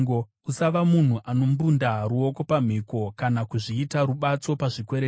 Usava munhu anombunda ruoko pamhiko, kana kuzviita rubatso pazvikwereti;